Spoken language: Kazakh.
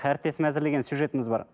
әріптесім әзірлеген сюжетіміз бар